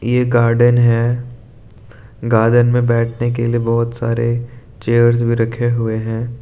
यह गार्डन है। गार्डन में बैठने के लिए बहुत सारे चेयर्स भी रखे हुए हैं।